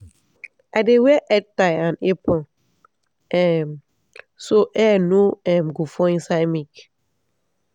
i dey wear headtie and apron um so hair no um go fall inside milk.